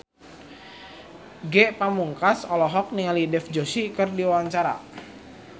Ge Pamungkas olohok ningali Dev Joshi keur diwawancara